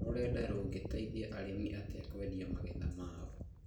Rũrenda rũngĩteithia arĩmi atĩa kwendia magetha mao?